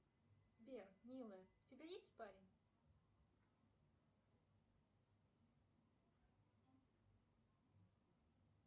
сбер милая у тебя есть парень